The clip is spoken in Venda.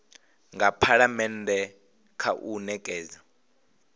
nga phalamennde kha u nekedza